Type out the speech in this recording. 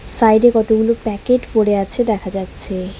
Side -এ কতগুলো packet পড়ে আছে দেখা যাচ্ছে।